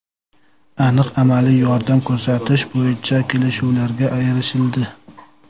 Aniq amaliy yordam ko‘rsatish bo‘yicha kelishuvlarga erishildi.